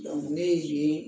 ne ye